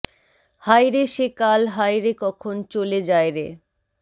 হায় রে সে কাল হায় রে কখন চলে যায় রে